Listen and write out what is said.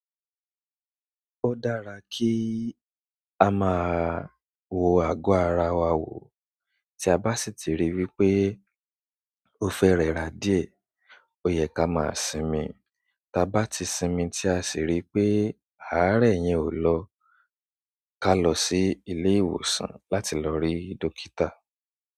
Ó dára kí a máa wo ago ara wa wò tí a bá sì ti rí i wípé ó fẹ́ rẹra dìé ó yẹ ká máa sinmi, tí a bá ti sinmi tí a sì rí pé àárẹ̀ yẹn ò lọ ká lọ sí ilé ìwòsàn láti lọ rí dókítà.